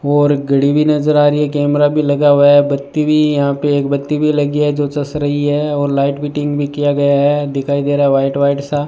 और घड़ी भी नज़र आ रही है कैमरा भी लगा हुआ है बत्ती भी यहां पे एक बत्ती भी लगी है जो चस रही है और लाइट फिटिंग भी किया गया है दिखाई दे रहा है व्हाइट व्हाइट सा।